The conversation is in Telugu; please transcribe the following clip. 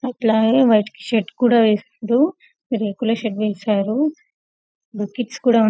అట్లాగే వైట్కి షర్ట్ వేశారు రేకుల షడ్ వేశారు కిడ్స్ కూడా --